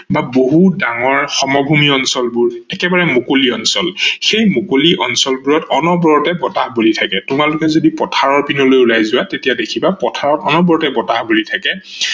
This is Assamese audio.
বা বহুত ডাঙৰ সমভূমি অঞ্চলবোৰ একেবাৰে মুকলি অঞ্চল ।এই মুকলি অঞ্চলবোৰত অনবৰতে বতাহ বলি থাকে, তোমালোকে যদি পথাৰৰ পিনলৈ উলাই যোৱা তেতিয়া দেখিবা পথাৰত অনবৰতে বতাহ বলি থাকে